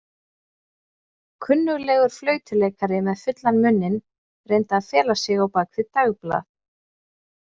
Kunnuglegur flautuleikari með fullan munninn reyndi að fela sig á bak við dagblað.